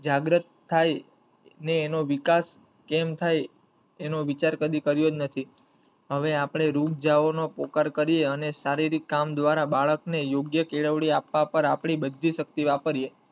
જાગ્રત થઈ ને એનો વિકાસ કેમ થઈ એનો વિચાર કદી કરીયો જ નથી હવે અપડે રુક જવો નો પોકાર કરીયે અને શારીરિક કામ દ્વારા બાળક ને યોગ્ય કેળવણી આપવા પર આપડી બધી શક્તિ વાપરીએ.